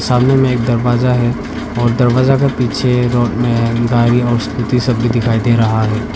सामने में एक दरवाजा है और दरवाजा का पीछे रोड में गाड़ी और स्कूटी सब भी दिखाई दे रहा है।